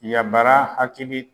Yabara hakili